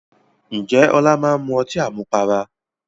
Ǹjẹ́ Ọlá máa ń mu ọtí àmupara?